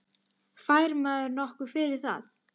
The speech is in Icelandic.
Fær maður nokkuð fyrir það?